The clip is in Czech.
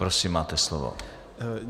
Prosím, máte slovo.